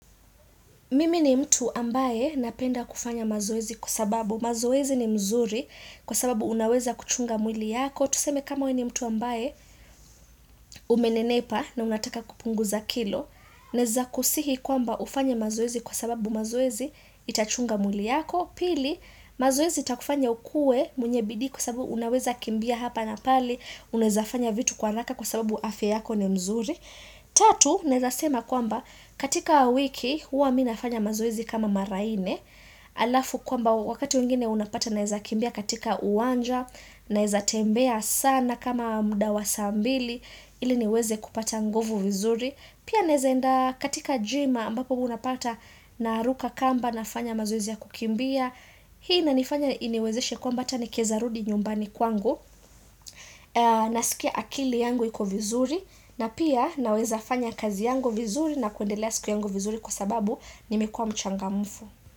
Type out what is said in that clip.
Mimi ni mtu ambaye napenda kufanya mazoezi kwa sababu mazoezi ni mzuri kwa sababu unaweza kuchunga mwili yako. Tuseme kama we ni mtu ambaye umenenepa na unataka kupunguza kilo. Naeza kusihi kwamba ufanye mazoezi kwa sababu mazoezi itachunga mwili yako. Pili, mazoezi itakufanya ukue mwenye bidii kwa sababu unaweza kimbia hapa na pale. Unaezafanya vitu kwa haraka kwa sababu afya yako ni mzuri. Tatu, naeza sema kwamba katika wiki huwa mi nafanya mazoezi kama mara nne Alafu kwamba wakati wengine unapata naeza kimbia katika uwanja Naeza tembea sana kama mda wa saa mbili ili niweze kupata ngovu vizuri Pia naeza enda katika gym ambapo unapata naruka kamba nafanya mazoezi ya kukimbia Hii inanifanya iniwezeshe kwamba ata nikieza rudi nyumbani kwangu Nasikia akili yangu iko vizuri na pia naweza fanya kazi yangu vizuri na kuendelea siku yangu vizuri kwa sababu nimekua mchangamfu.